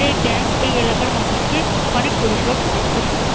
এই ব্যাঙ্ক এই এলাকার মানুষকে অনেক পরিষেবা প্রদান করে থাকবে।